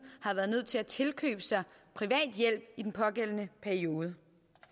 har været nødt til at tilkøbe sig privat hjælp i den pågældende periode